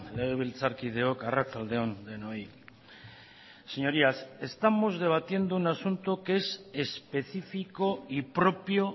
legebiltzarkideok arratsalde on denoi señorías estamos debatiendo un asunto que es específico y propio